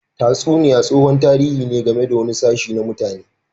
Tatsuniya tsohon tarihi ne game da wani sashe na mutane.